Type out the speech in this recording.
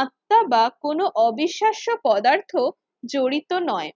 আত্মা বা কোন অবিশ্বাস্য পদার্থ জড়িত নয়